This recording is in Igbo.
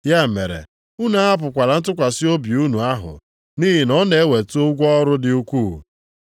Ya mere, unu ahapụkwala ntụkwasị obi unu ahụ, nʼihi na ọ na-eweta ụgwọ ọrụ dị ukwuu.